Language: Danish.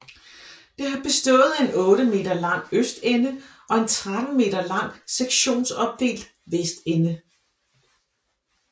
Det har bestået af en 8 m lang østende og en 13 m lang sektionsopdelt vestende